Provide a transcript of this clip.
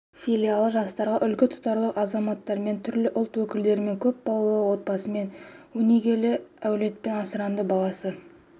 филиалы жастарға үлгі тұтарлық азаматтармен түрлі ұлт өкілдерімен көп балалы отбасымен өнегелі әулетпен асыранды баласы